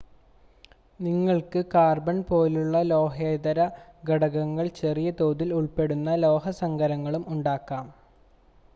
നിങ്ങൾക്ക് കാർബൺ പോലുള്ള ലോഹേതര ഘടകങ്ങൾ ചെറിയ തോതിൽ ഉൾപ്പെടുന്ന ലോഹസങ്കരങ്ങളും ഉണ്ടാകാം